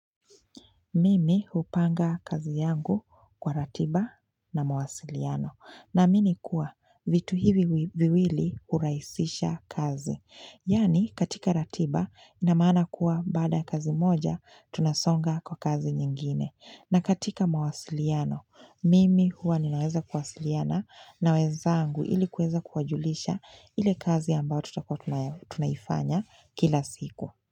Mimi hupanga kazi yangu kwa ratiba na mawasiliano naamini kuwa vitu hivi viwili urahisisha kazi. Yaani katika ratiba inamaana kuwa baada ya kazi moja tunasonga kwa kazi nyingine. Na katika mawasiliano, mimi huwa ninaweza kuwasiliana na wenzangu ili kuweza kuwajulisha ile kazi ambayo tutakuja tunayafanya kila siku.